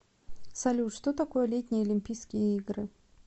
салют что такое летние олимпийские игры